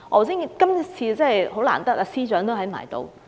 今天真的很難得司長也在席。